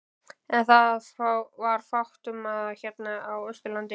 En það var fátt um það hérna á Austurlandi.